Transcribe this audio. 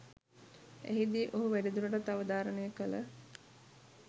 එහිදී ඔහු වැඩිදුරටත් අවධාරණය කළ